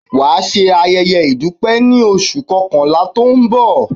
Wà á ṣẹ ayéyé ìdúpẹ́ ní oṣù kankànlá tó ń bọ̀!